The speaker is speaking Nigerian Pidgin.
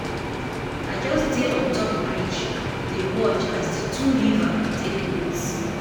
I just dey on top bridge dey watch as di two river take meet.